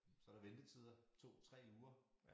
Så der ventetider 2 3 uger